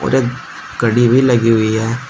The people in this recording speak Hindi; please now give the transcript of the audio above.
एक घड़ी भी लगी हुई है।